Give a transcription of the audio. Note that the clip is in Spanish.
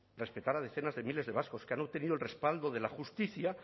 respetar a decenas de miles de vascos que han obtenido el respaldo de la justicia